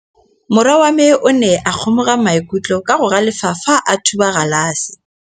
Morwa wa me o ne a kgomoga maikutlo ka go galefa fa a thuba galase.